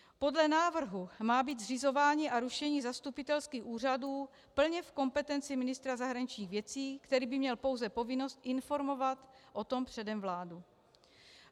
Podle návrhu má být zřizování a rušení zastupitelských úřadů plně v kompetenci ministra zahraničních věcí, který by měl pouze povinnost informovat o tom předem vládu.